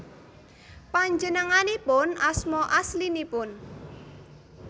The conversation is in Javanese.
Panjenenganipun asma aslinipun